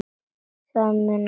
Það munaði um allt.